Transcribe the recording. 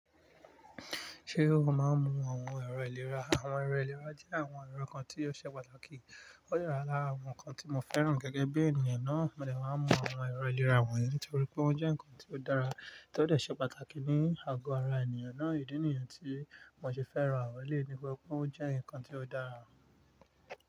Ṣé o máa ń mú àwọn ẹ̀rọ ìlera? Àwọn ẹ̀rọ ìlera jẹ́ àwọn ẹ̀rọ kan tí ó ṣe pàtàkì. Ó le lára àwọn nǹkan tí mo fẹ́ràn gẹ́gẹ́ bí ènìyàn náà. Mo lè máa ń mú àwọn ẹ̀rọ ìlera wọ̀nyí nítorí pé ó jẹ́ nǹkan tí ó dára tí ó de ṣe pàtàkì ní àgọ ara ènìyàn náà. Ìdí nìyẹn tí mo ṣe fẹ́ràn àwọn eleyii nitori pe ó jẹ́ nǹkan tí ó dára.